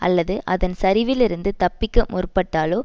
அல்லது அதன் சரிவில் இருந்து தப்பிக்க முற்பட்டாலோ